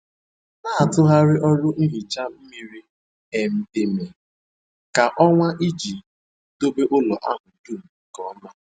Na-atụgharị ọrụ nhicha miri um emi kwa ọnwa iji dobe ụlọ ahụ dum nke ọma.